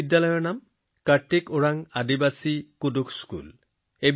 এই বিদ্যালয়খনৰ নাম কাৰ্তিক ওৰাণ আদিবাসী কুৰুখ বিদ্যালয়